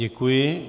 Děkuji.